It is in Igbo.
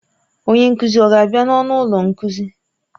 Onye nkuzi ọ ga-abịa n'ọnụ ụlọ nkuzi?